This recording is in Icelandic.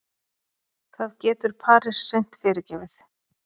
Það getur Paris seint fyrirgefið